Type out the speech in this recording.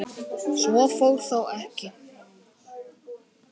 Svo fór þó ekki.